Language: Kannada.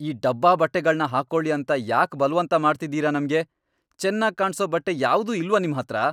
ಈ ಡಬ್ಬಾ ಬಟ್ಟೆಗಳ್ನ ಹಾಕೊಳಿ ಅಂತ ಯಾಕ್ ಬಲ್ವಂತ ಮಾಡ್ತಿದೀರ ನಮ್ಗೆ?! ಚೆನ್ನಾಗ್ ಕಾಣ್ಸೋ ಬಟ್ಟೆ ಯಾವ್ದೂ ಇಲ್ವಾ ನಿಮ್ಹತ್ರ?!